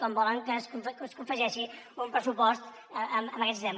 com volen que es confegeixi un pressupost amb aquest sistema